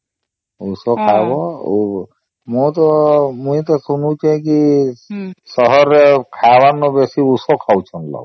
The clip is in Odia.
ଔଷଧ ଖାଇବା ଆଉ ମୁ ତ ମୁଇ ତ ଶୁଣୁଛେ କି ସହର ରେ ଖାଇବାର ନାଇଁ ବେଶୀ ଔଷଧ ଖାଉଛନ୍ତି ଲ